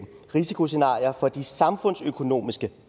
risikoscenarier for de samfundsøkonomiske